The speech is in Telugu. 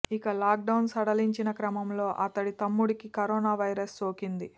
ఇక లాక్ డౌన్ సడలించిన క్రమంలో అతడి తమ్ముడికి కరోనా వైరస్ సోకింది